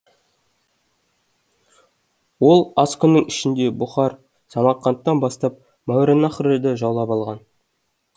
ол аз күннің ішінде бұхар самарқандтан бастап мауараннахрды жаулап алған